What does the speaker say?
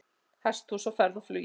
Hesthús á ferð og flugi